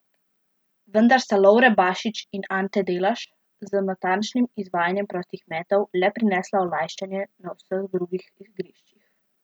Vendar sta Lovre Bašić in Ante Delaš z natančnim izvajanjem prostih metov le prinesla olajšanje na vseh drugih igriščih.